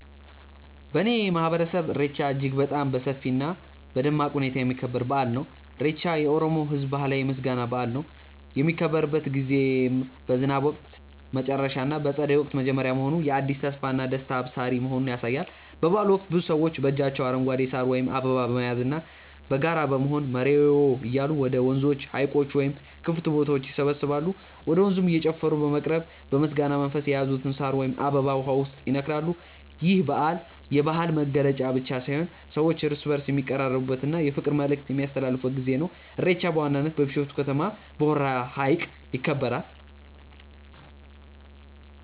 በእኔ ማህበረሰብ ኢሬቻ እጅግ በጣም በሰፊ እና በደማቅ ሁኔታ የሚከበር በአል ነው። ኢሬቻ የኦሮሞ ህዝብ ባህላዊ የምስጋና በአል ነው። የሚከበርበት ጊዜም በዝናብ ወቅት መጨረሻ እና በፀደይ ወቅት መጀመሪያ መሆኑ የአዲስ ተስፋና ደስታ አብሳሪ መሆኑን ያሳያል። በበአሉ ወቅት ብዙ ሰዎች በእጃቸው አረንጓዴ ሳር ወይም አበባ በመያዝና በጋራ በመሆን "መሬዎ" እያሉ ወደ ወንዞች፣ ሀይቆች ወይም ክፍት ቦታዎች ይሰባሰባሉ። ወደ ወንዙም እየጨፈሩ በመቅረብ በምስጋና መንፈስ የያዙትን ሳር ወይም አበባ ውሃው ውስጥ ይነክራሉ። ይህ በዓል የባህል መገለጫ ብቻ ሳይሆን ሰዎች እርስ በእርስ የሚቀራረቡበት እና የፍቅር መልዕክት የሚያስተላልፉበት ጊዜ ነው። ኢሬቻ በዋናነት በቢሾፍቱ ከተማ በሆራ ሀይቅ ይከበራል።